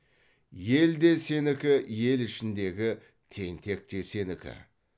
ел де сенікі ел ішіндегі тентек те сенікі